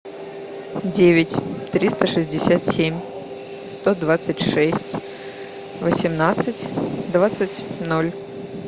девять триста шестьдесят семь сто двадцать шесть восемнадцать двадцать ноль